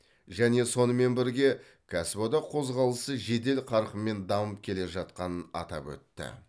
және сонымен бірге кәсіподақ қозғалысы жедел қарқынмен дамып келе жатқанын атап өтті